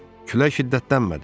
"Külək şiddətlənmədi."